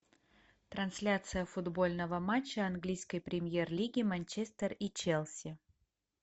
трансляция футбольного матча английской премьер лиги манчестер и челси